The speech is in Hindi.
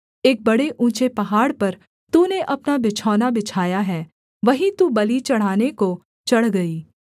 एक बड़े ऊँचे पहाड़ पर तूने अपना बिछौना बिछाया है वहीं तू बलि चढ़ाने को चढ़ गई